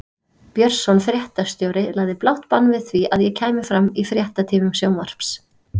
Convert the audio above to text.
Björnsson fréttastjóri lagði blátt bann við því að ég kæmi fram í fréttatímum sjónvarps.